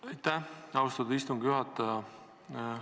Aitäh, austatud istungi juhataja!